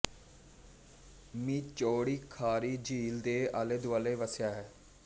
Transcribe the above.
ਮੀ ਚੌੜੀ ਖਾਰੀ ਝੀਲ ਦੇ ਆਲੇਦੁਆਲੇ ਵਸਿਆ ਹੈ